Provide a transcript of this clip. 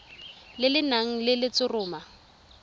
le le nang le letshoroma